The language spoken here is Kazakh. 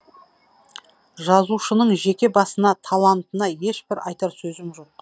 жазушының жеке басына талантына ешбір айтар сөзіміз жоқ